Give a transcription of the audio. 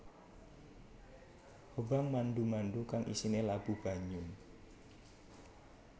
Hobang mandu mandu kang isine labu banyu